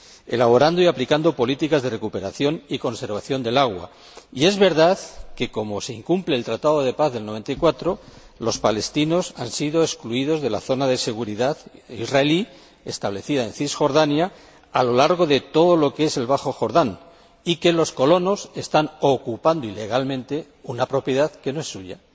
elaborando y aplicando políticas de recuperación y conservación del agua, y es verdad que, como se incumple el Tratado de Paz de 1994, los palestinos han sido excluidos de la zona de seguridad israelí establecida en Cisjordania a lo largo de todo lo que es el bajo Jordán y que los colonos están ocupando ilegalmente una propiedad que no es suya.